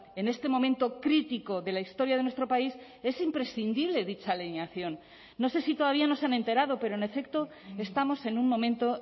en este momento crítico de la historia de nuestro país es imprescindible dicha alineación no sé si todavía no se han enterado pero en efecto estamos en un momento